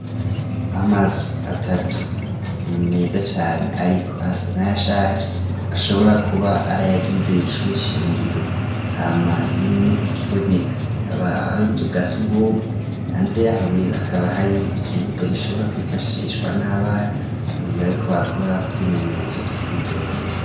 Amazu atatu mu meza cane ariko arsana ya sharge ashobora kuba arayagizeye ishure shingiro hama imwe ukiboneka ikaba hari ubuzo bwa sugom hanze yaho rero hakaba hari ikibuga gishobora kwifashishwa n'abana mu gihe baye kbakora twimenyezo two kwiryohera.